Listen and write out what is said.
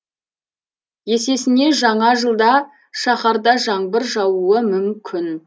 есесіне жаңа жылда шаһарда жаңбыр жаууы мүмкін